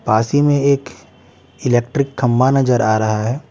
पासी में एक इलेक्ट्रिक खम्मा नजर आ रहा है।